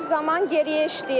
Zaman geriyə işləyir.